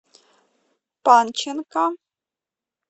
панченко